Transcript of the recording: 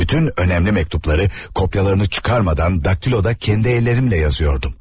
Bütün önəmli məktubları kopyalarını çıxarmadan daktiloda kendi əllərimlə yazıyordum.